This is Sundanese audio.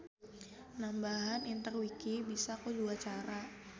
Nambahan interwiki bisa ku dua cara.